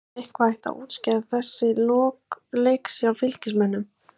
Var eitthvað hægt að útskýra þessi lok leiks hjá Fylkismönnum?